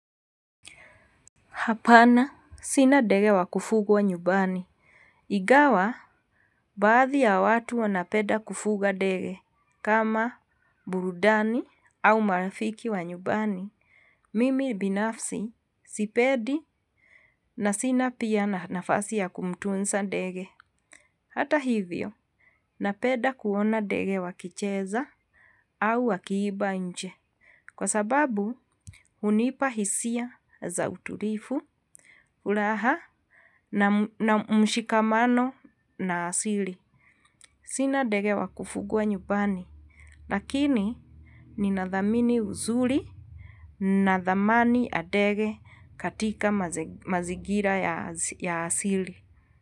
Hapana sina ndege wa kufugwa nyumbani. Ingawa baadhi ya watu wanapenda kufuga ndege. Kama burudani au marafiki wa nyumbani. Mimi binafsi sipendi na sina pia nafasi ya kumtunza ndege. Hata hivyo, napenda kuona ndege wakicheza au wakiimba nje. Kwa sababu, hunipa hisia za utulivu, furaha na na mshikamano na asili. Sina ndege wakufugwa nyumbani, lakini ninadhamini uzuri na dhamani ya ndege katika mazingira ya asili.